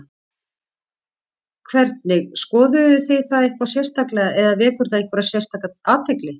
Hvernig, skoðuð þið það eitthvað sérstaklega eða vekur það einhverja sérstaka athygli?